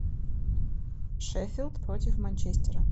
шеффилд против манчестера